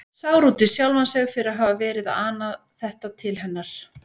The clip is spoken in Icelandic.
Sár út í sjálfan sig fyrir að hafa verið að ana þetta til hennar.